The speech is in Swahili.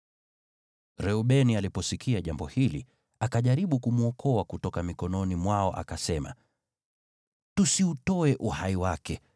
Reubeni aliposikia jambo hili, akajaribu kumwokoa kutoka mikononi mwao akasema, “Tusiutoe uhai wake.